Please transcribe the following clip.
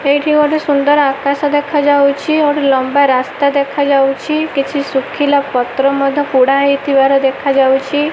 ଏହିଠି ଗୋଟେ ସୁନ୍ଦର୍ ଆକାଶ ଦେଖା ଯାଉଚି ଗୋଟେ ଲମ୍ବା ରାସ୍ତା ଦେଖାଯାଉଚି କିଛି ଶୁଖିଲା ପତ୍ର ମଧ୍ୟ ପୋଡାହେଇଥିବାର ଦେଖାଯାଉଚି ।